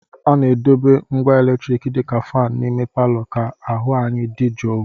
A na-edobe ngwa eletriki dị ka fan n'ime palọ ka ahụ anyi dị jụụ